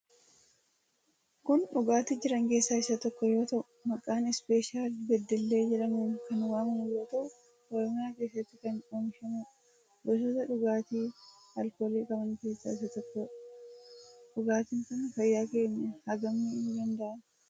Kun dhugaati jiran keessa isa tokko yoo tahuu maqaa special bedelle jedhamuun kan waamamu yoo tahuu oromiyaa keessatti kan omishamudha. Gosoota dhugaati alkooli qaban keessa isa tokkodha. Dhugaatiin kun fayyaa keenya hagam miidhu danda'a?